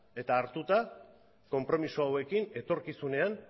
eta hartuta konpromiso hauekin etorkizunean